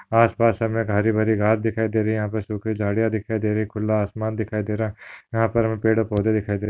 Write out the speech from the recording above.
आसपास हमे हरीभरी घास दिखाई दे रही है यहाँ पर सुखी झाड़ियाँ दिखाई दे रही है खुला आसमान दिखाई दे रहा है यहाँ पर हमे पेड़ और पौधे दिखाई दे रहे है।